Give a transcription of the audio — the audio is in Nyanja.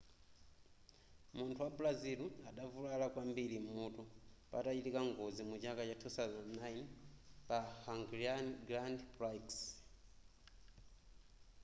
munthu wa brazil adavulala kwambiri m'mutu patachitika ngozi muchaka cha 2009 pa hungarian grand prix